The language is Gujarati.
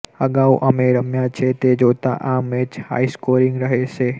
અગાઉ અમે રમ્યા છે તે જોતા આ મેચ હાઇસ્કોરીગ રહશે